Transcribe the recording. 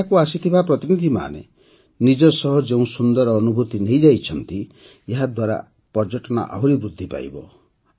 ଏଠାକୁ ଆସିଥିବା ପ୍ରତିନିଧିମାନେ ନିଜ ସହ ଯେଉଁ ସୁନ୍ଦର ଅନୁଭୂତି ନେଇ ଯାଇଛନ୍ତି ଏହାଦ୍ୱାରା ପର୍ଯ୍ୟଟନ ଆହୁରି ବୃଦ୍ଧି ପାଇବ